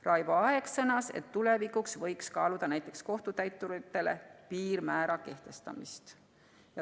Raivo Aeg sõnas, et tulevikus võiks kaaluda näiteks kohtutäiturite piirmäära kehtestamist.